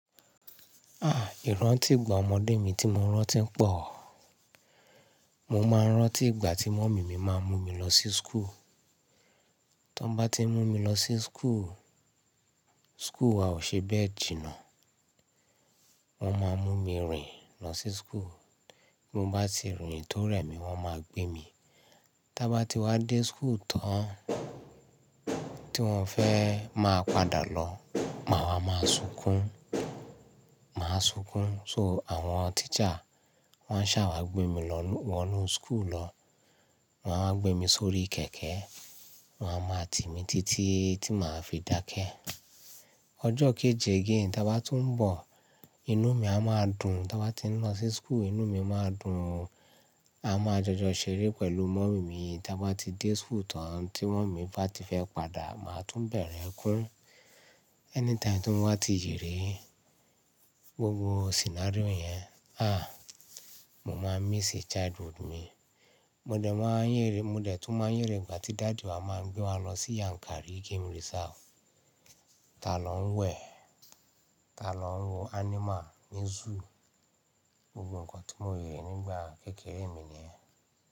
Ah! Ìrántì ìgbà ọmọdé mi tí mo rántí pọ̀. Mo máa ń rántí ìgbà tí mọ̀mí mi máa ń mú mi lọ sí school. Tí wọ́n bá ti mú mi lọ sí school, school a ò ṣe bẹ́ẹ̀ jìnnà. Wọ́n máa mú mi rìn lọ sí school. Mo bá ti rìn tó rẹ̀mi, wọ́n máa gbé mi. Tí a bá ti wá dé school tán tí wọ́n fẹ́ máa padà lọ, màá wá máa sunkún, máa sunkún. So àwọn teacher wọ́n a sáwa gbé mi wọ inú school lọ. Wọn a máa gbé mi sórí kẹ̀kẹ́, wọ́n a máa tì mí títí tí màá fi dákẹ́. Ọjọ́ kejì gan ta bá tún ń bọ̀, inú mi a máa dùn. Tí wọ́n bá ti ń lọ sí school, inú mi máa dùn. A máa jọjọ ṣeré pẹ̀lú mọ̀mí mi. Tí a bá ti dé school tán tí mọ̀mí bá ti fẹ́ padà, màá tún bẹ̀rẹ̀ kún. Anytime tí wọ́n bá ti yèrè gbogbo scenario yẹn, ah! Mo máa miss childhood mi. Mo dẹ̀ tún máa ń yèrè ìgbà tí daddy wa máa ń gbé wa lọ sí Yankari Game Reserve. Tá lọ ń wẹ̀, tá lọ ń wo animal ní zoo. Gbogbo nǹkan tí mo rí nígbà kékeré mi ni yen.